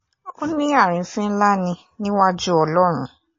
ó ní àrífín ńlá ni níwájú ọlọ́run